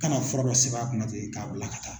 Kana fura dɔ sɛbɛn a kunna ten k'a bila ka taa.